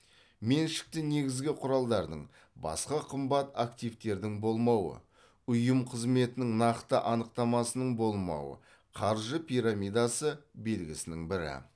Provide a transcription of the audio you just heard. меншікті негізгі құралдардың басқа қымбат активтердің болмауы ұйым қызметінің нақты анықтамасының болмауы қаржы пирамидасы белгісінің бірі